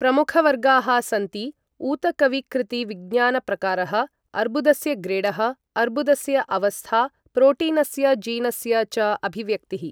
प्रमुखवर्गाः सन्ति ऊतकविकृतिविज्ञानप्रकारः, अर्बुदस्य ग्रेडः, अर्बुदस्य अवस्था, प्रोटीनस्य जीनस्य च अभिव्यक्तिः